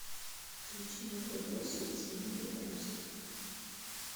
включи мокрые кроссы тимы белорусских